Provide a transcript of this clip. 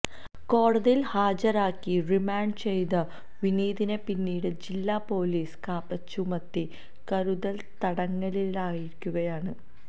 കോടതിയിൽ ഹാജരാക്കി റിമാൻഡ് ചെയ്ത വിനീതിനെ പിന്നീട് ജില്ലാ പൊലീസ് കാപ്പ ചുമത്തി കരുതൽ തടങ്കലിലാക്കിയിരിക്കുകയാണ്